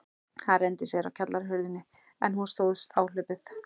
Hann renndi sér á kjallarahurðina, en hún stóðst áhlaupið.